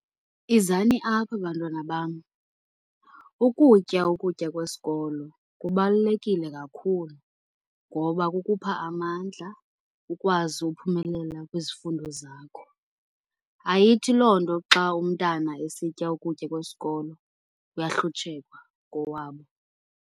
Izani apha bantwana bam ukutya ukutya kwesikolo kubalulekile kakhulu. Ngoba kukhupha amandla ukwazi ukuphumelela kwizifundo zakho. Ayithi loo nto xa umntana esitya ukutya kwesikolo kuyahlutshekwa kowabo.